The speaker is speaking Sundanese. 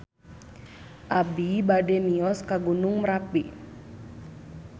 Abi bade mios ka Gunung Merapi